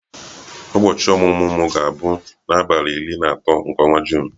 Ụbọchị ọmụmụ m ga-abụ n'abalị iri na atọ nke ọnwa Juun.